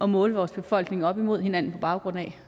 måle vores befolkning op imod hinanden på baggrund af